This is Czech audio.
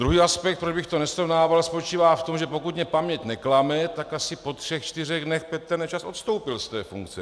Druhý aspekt, proč bych to nesrovnával, spočívá v tom, že pokud mě paměť neklame, tak asi po třech čtyřech dnech Petr Nečas odstoupil z té funkce.